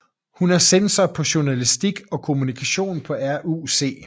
Hun er censor på Journalistik og Kommunikation på RUC